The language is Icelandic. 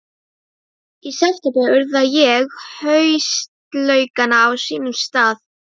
Í september urða ég haustlaukana á sínum stað.